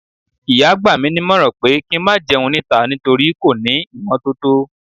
ìyá gba mi nímọ̀ràn pé kí n má jẹun níta, nítorí kò ní ímotótó